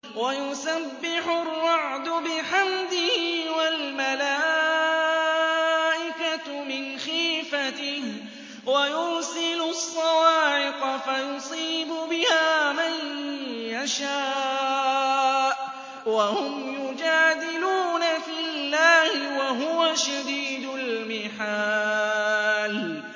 وَيُسَبِّحُ الرَّعْدُ بِحَمْدِهِ وَالْمَلَائِكَةُ مِنْ خِيفَتِهِ وَيُرْسِلُ الصَّوَاعِقَ فَيُصِيبُ بِهَا مَن يَشَاءُ وَهُمْ يُجَادِلُونَ فِي اللَّهِ وَهُوَ شَدِيدُ الْمِحَالِ